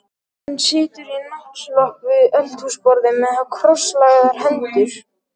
Hún situr í náttslopp við eldhúsborðið með krosslagðar hendur.